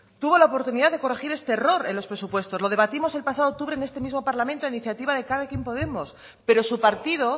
tuvo la oportunidad de corregir este error en los presupuestos lo debatimos el pasado octubre en este mismo parlamento a iniciativa de elkarrekin podemos pero su partido